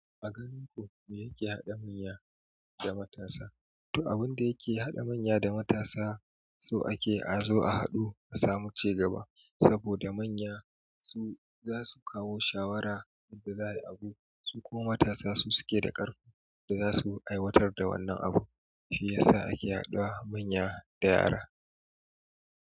A garin ku me yake haɗa manya da matasa? To abun da yake haɗa manya da matasa so ake a zo a haɗu a samu cigaba. Saboda manya su zasu kawo shawara yadda za ai abu, su kuma matasa suke da ƙarfin da za a aiwatar da wannan abun shi ya sa ake haɗuwa manya da yara.